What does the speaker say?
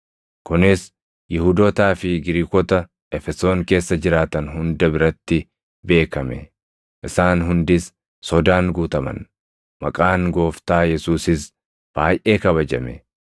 Kunis Yihuudootaa fi Giriikota Efesoon keessa jiraatan hunda biratti beekame; isaan hundis sodaan guutaman; maqaan Gooftaa Yesuusis baayʼee kabajame.